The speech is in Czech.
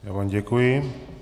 Já vám děkuji.